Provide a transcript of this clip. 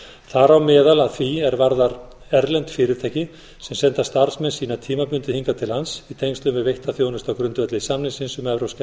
þar á meðal að því er varðar erlend fyrirtæki sem senda starfsmenn sína tímabundið hingað til lands í tengslum við veitta þjónustu á grundvelli samningsins um evrópska